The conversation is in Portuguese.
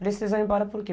Precisam ir embora por quê?